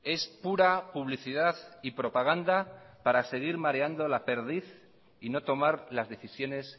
es pura publicidad y propaganda para seguir mareando la perdiz y no tomar las decisiones